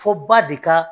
Fɔ ba de ka